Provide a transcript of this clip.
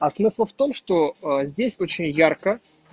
а смысл в том что а здесь очень ярко